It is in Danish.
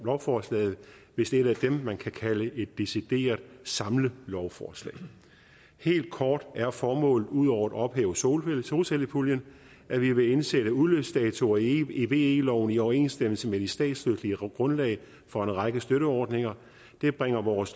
lovforslaget vist et af dem man kan kalde et decideret samlelovforslag helt kort er formålet ud over at ophæve solcellepuljen at vi vil indsætte udløbsdatoer i ve loven i overensstemmelse med det statsretlige grundlag for en række støtteordninger det bringer vores